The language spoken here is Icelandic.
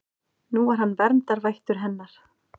Nú var hann verndarvættur hennar.